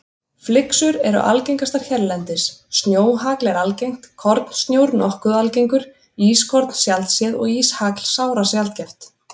Flyksur eru algengastar hérlendis, snjóhagl er algengt, kornsnjór nokkuð algengur, ískorn sjaldséð og íshagl sárasjaldgæft.